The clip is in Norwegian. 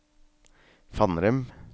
Fannrem